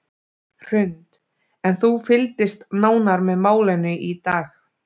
Hrund: En þú fylgdist nánar með málinu í dag?